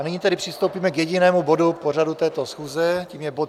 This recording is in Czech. A nyní tedy přistoupíme k jedinému bodu pořadu této schůze, tím je bod